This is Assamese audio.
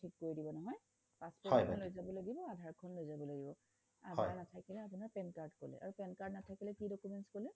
ঠিক কৰি দিব নহয় passport এখন লৈ যাব লাগিব আধাৰ খন লৈ যাব লাগিব আধাৰ নাথাকিলে আপোনাৰ pan card কলে আৰু pan card নাথাকিলে কি documents কলে